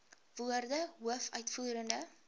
woorde hoof uitvoerende